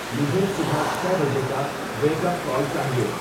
مجھے صبح چھے بجے کا ویک اپ کال چاہیئے